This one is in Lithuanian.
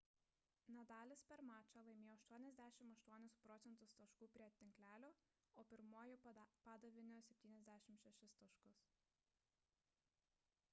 nadalis per mačą laimėjo 88 proc. taškų prie tinklelio o pirmuoju padavimu – 76 taškus